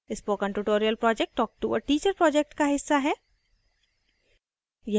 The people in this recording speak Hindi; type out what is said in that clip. spoken tutorial project talktoa teacher project का हिस्सा है